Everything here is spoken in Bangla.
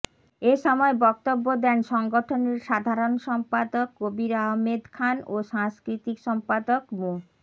এ সময় বক্তব্য দেন সংগঠনের সাধারণ সম্পাদক কবির আহমেদ খান ও সাংস্কৃতিক সম্পাদক মো